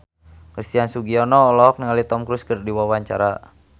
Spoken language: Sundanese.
Christian Sugiono olohok ningali Tom Cruise keur diwawancara